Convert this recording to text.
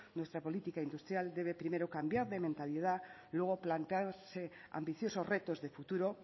nuestra política industrial debe primero cambiar de mentalidad luego plantearse ambiciosos retos de futuro